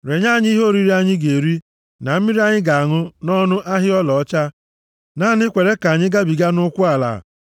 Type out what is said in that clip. Renye anyị ihe oriri anyị ga-eri na mmiri anyị ga-aṅụ nʼọnụ ahịa ọlaọcha. Naanị kweere ka anyị gabiga nʼụkwụ ala,